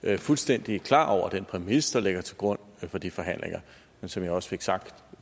er fuldstændig klar over den præmis der ligger til grund for de forhandlinger men som jeg også fik sagt